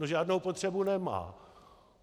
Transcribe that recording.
No, žádnou potřebu nemá.